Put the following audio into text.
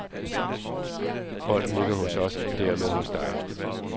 Bolden ligger hos os og dermed hos dig.